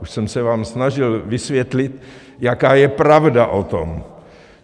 Už jsem se vám snažil vysvětlit, jaká je pravda o tom.